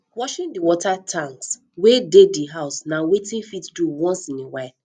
washing di water tanks wey dey di house na wetin fit do once in a while